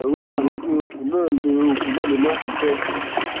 ẹrù ń bà mí pé oògùn náà lè oògùn náà lè máà ṣiṣẹ